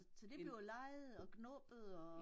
Så det blev leget og gnubbet og